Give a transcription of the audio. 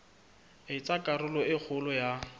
etsa karolo e kgolo ya